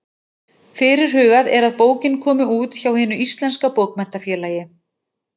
Fyrirhugað er að bókin komi út hjá Hinu íslenska bókmenntafélagi.